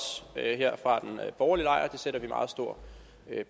her fra den borgerlige lejr og vi sætter meget stor